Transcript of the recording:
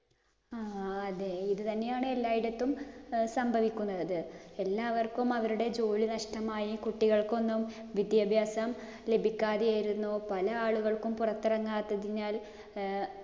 ആ അതെ ഇത് തന്നെയാണ് എല്ലായിടത്തും സംഭവിക്കുന്നത്. എല്ലാവർക്കും അവരുടെ ജോലി നഷ്ടമായി. കുട്ടികൾക്കൊന്നും വിദ്യാഭ്യാസം ലഭിക്കാതെ ഇരുന്നു. പല ആളുകള്‍ക്കും പുറത്തിറങ്ങാത്തതിനാല്‍